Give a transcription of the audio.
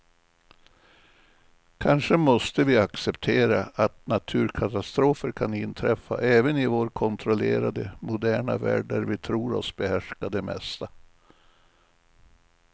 Kanske måste vi acceptera att naturkatastrofer kan inträffa även i vår kontrollerade, moderna värld där vi tror oss behärska det mesta.